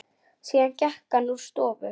Síðan gekk hann úr stofu.